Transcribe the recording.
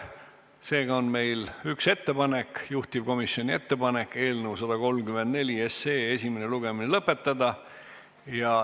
Seega on meil üks ettepanek, juhtivkomisjoni ettepanek eelnõu 134 esimene lugemine lõpetada.